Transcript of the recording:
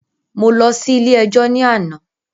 Mo lọ sí ilé ẹjọ́ ní àná.